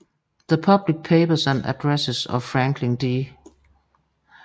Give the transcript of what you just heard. The Public Papers and Addresses of Franklin D